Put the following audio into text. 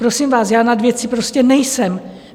Prosím vás, já nad věcí prostě nejsem.